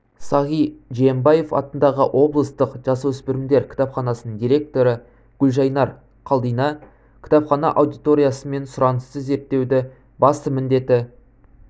сағи жиенбаев атындағы облыстық жасөспірімдер кітапханасының директоры гүлжайнар қалдина кітапхана аудиториясы мен сұранысты зерттеуді басты міндеті